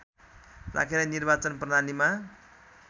राखेर निर्वाचन प्रणालीमा